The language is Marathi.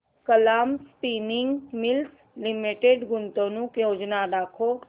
कलाम स्पिनिंग मिल्स लिमिटेड गुंतवणूक योजना दाखव